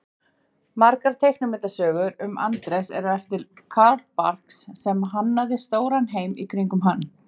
Margar teiknimyndasögurnar um Andrés eru eftir Carl Barks sem hannaði stóran heim í kringum hann.